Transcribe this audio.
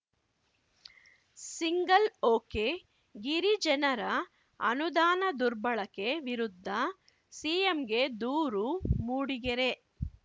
single ಒಕೆಗಿರಿಜನರ ಅನುದಾನ ದುರ್ಬಳಕೆ ವಿರುದ್ಧ ಸಿಎಂಗೆ ದೂರು ಮೂಡಿಗೆರೆ